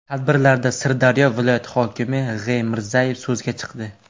Tadbirlarda Sirdaryo viloyati hokimi G‘.Mirzayev so‘zga chiqdi.